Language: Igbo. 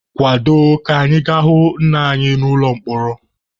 Kwado ka anyị ga-ahụ nna anyị n'ụlọ mkpọrọ.